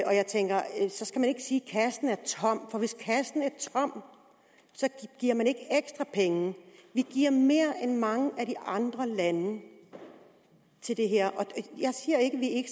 kassen er tom for hvis kassen er tom giver man ikke ekstra penge vi giver mere end mange af de andre lande til det her